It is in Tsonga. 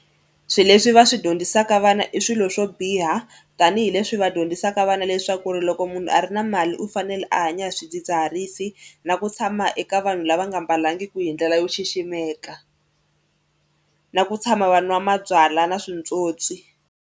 Swilo leswi va swi dyondzisaka vana i swilo swo biha tanihileswi va dyondzisaka vana leswaku ri loko munhu a ri na mali u fanele a hanya hi swidzidziharisi na ku tshama eka vanhu lava nga mbalangiki hi ndlela yo xiximeka na ku tshama va nwa mabyalwa na switswotswi.